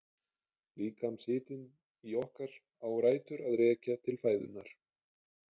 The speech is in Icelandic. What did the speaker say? Líkamshitinn í okkar á rætur að rekja til fæðunnar.